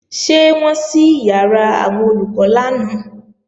Ṣé wọ́n ṣí ìyàrá àwọn Olùkọ́ lánàá?